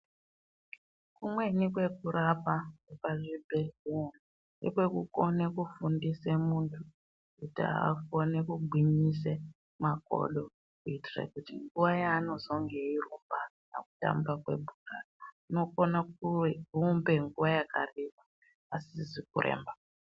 Kumweni kwekurapa pazvibhedhleya ngekwekukone kufundise muntu kuti akone kugwinyise makodo kuitire kuti nguwa yaanozenge eirumba pakutanga kwebhora unokone kuirumbe nguwa yakareba asizi kuremba.